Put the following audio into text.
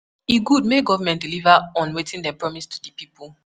E good make government deliver on wetin dem promise to di people.